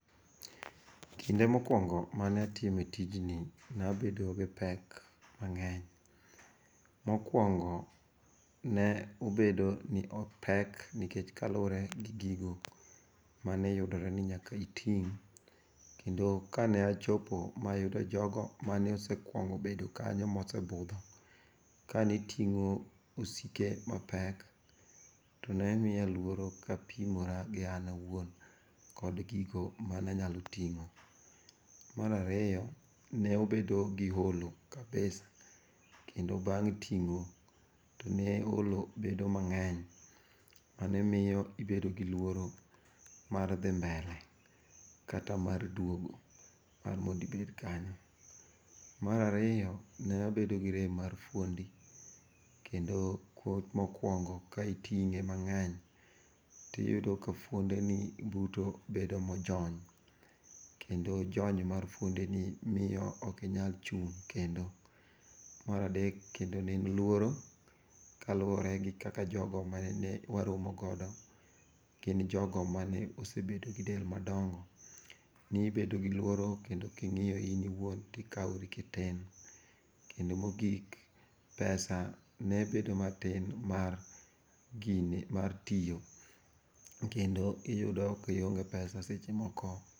Kinde mokwongo manatime tijni, nabedo gi pek mang'eny. Mokwongo, ne obedo ni opek nikech kaluwore gi gigo maneyudore ni nyaka iting' kendo kane achopo mayudo jogo mane osekuongo bedo kanyo mosebudho, kane ting'o osike mapek, to ne miya luoro kapimora gi an awuon kod gigo mananyalo ting'o. Mar aariyo, nobedo gi olo kabisa, kendo bang' ting'o to ne olo bedo mang'eny mane miyo ibedo gi luoro mar dhi mbele[sc] kata mar duogo mar mondibed kanyo. Mar ariyo, nabedo gi rem mar fuondi, kendo mokwongo ka iting'e mang'eny tiyudo ka fuondeni duto bedo mojony, kendo jony mar fuondeni miyo ok inyal chung' kendo. Mar adek kendo ne en luoro, kaluwore gi kaka jogo manene waromo godo gin jogo mane osebedo gi del madongo. Nibedo gi luoro kendo king'iyo in iwuon tikawori kitin. Kendo mogik, pesa ne bedo matin mar tiyo kendo iyudo kionge pesa seche moko.